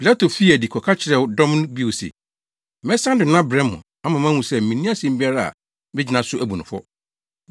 Pilato fii adi kɔka kyerɛɛ dɔm no bio se, “Mɛsan de no abrɛ mo ama moahu sɛ minni asɛm biara a megyina so abu no fɔ.”